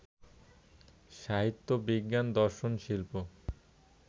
সাহিত্য, বিজ্ঞান, দর্শন, শিল্প